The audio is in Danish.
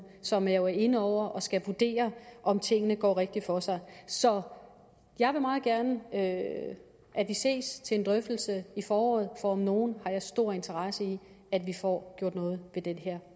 som jo er inde over det og skal vurdere om tingene går rigtigt for sig så jeg vil meget gerne have at vi ses til en drøftelse i foråret for om nogen har jeg stor interesse i at vi får gjort noget ved det